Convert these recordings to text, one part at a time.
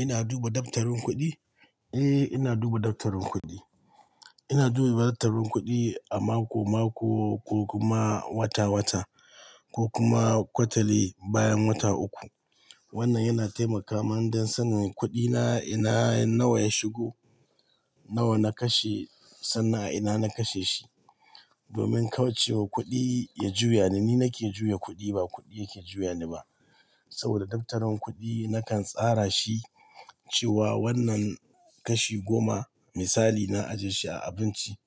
Ina duba daftarin kuɗi? Eh, ina duba daftarin kuɗi. Ina duba daftarin kuɗi a mako-mako ko kuma wata-wata ko kuma kwatali bayan wata uku. Wannan yana taimaka mani don sanin kuɗina ina nawa ya shigo, nawa na kashe sannan a ina na kashe shi. Domin kawai cewa kuɗi ya juya ni, ni nake juya kuɗi ba kuɗi yake juya ni ba. Saboda daftarin kuɗi nakan tsara shi cewa wannan kashi goma misali na ajiye shi a abinci,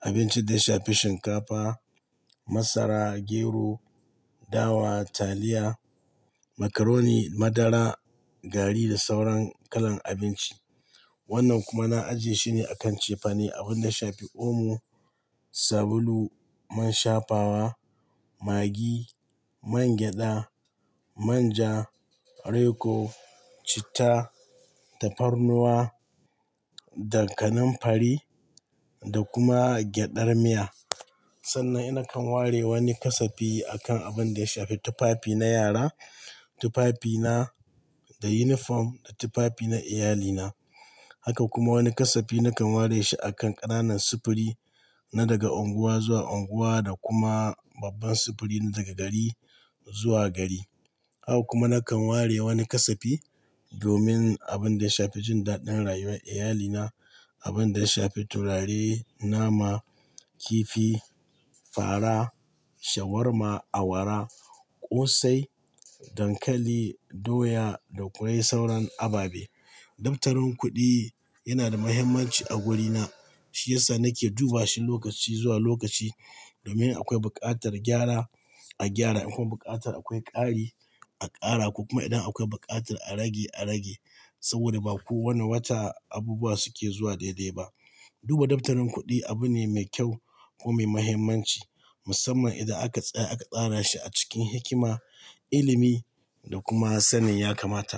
abinci da ya shafi shinkafa, masara, gero, dawa, taliya, macaroni, madara, gari da sauran kalan abinci. Wannan kuma na ajiye shi ne a kan cefane, abin da shafi omo, sabulu, man shafawa, maggi, man gyada, manja, reko, citta, tafarnuwa da kaninfari da kuma gyadar miya. Sannan ina kan ware wani ƙasafi a kan abin da ya shafi tufafi na yara, tufafi na da unifom da tufafi na iyalina. Haka kuma wani ƙasafi nakan ware shi a kan ƙananan sufuri na daga unguwa zuwa unguwa da kuma babban sufuri na daga gari zuwa gari. Haka kuma nakan ware wani ƙasafi domin abin da ya shafi jin daɗin rayuwar iyalina. Abin da ya shafi turare, nama, kifi, fara, shawarma, awara, ƙosai, dankali, doya da kawai sauran ababe. Daftarin kuɗi yana da muhimmanci a wurina, shi ya sa nake duba shi lokaci zuwa lokaci domin akwai buƙatar gyara a gyara, akwai buƙatar akwai ƙari a ƙara ko kuma idan akwai buƙatar a rage a rage. Saboda ba kowane wata abubuwa suke zuwa daidai ba. Duba daftarin kuɗi abu ne mai kyau ko mai muhimmanci, musamman idan aka tsaya aka tsara shi a cikin hikima, ilimi da kuma sanin ya kamata.